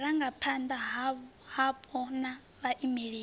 wa vhurangaphanda hapo na vhaimeleli